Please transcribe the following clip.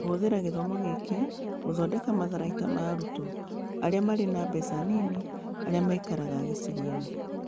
Kũhũthĩra gĩthomo gĩkĩ gũthondeka matharaita ma arutwo arĩa marĩ na mbeca nini, arĩa maikaraga gĩcigo-inĩ.